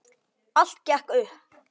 Allt gekk upp.